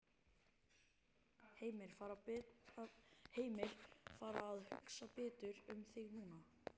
Heimir: Fara að hugsa betur um þig núna?